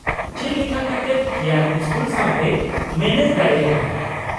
ᱪᱮᱫ ᱞᱮᱠᱟ ᱠᱟᱛᱮᱫ ᱠᱤᱭᱟᱱ ᱥᱠᱩᱞ ᱥᱟᱶᱛᱮᱭ ᱢᱮᱱᱮᱡ ᱫᱟᱲᱮᱭᱟᱫᱟ ?